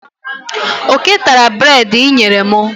Oké tara breedi inyere mu.